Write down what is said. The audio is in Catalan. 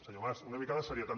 senyor mas una mica de seriositat